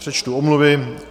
Přečtu omluvy.